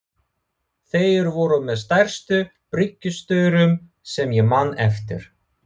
Þeir voru með stærstu bryggjustaurum sem ég man eftir.